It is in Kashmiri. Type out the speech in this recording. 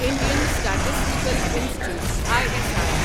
Indian statistical institute I S I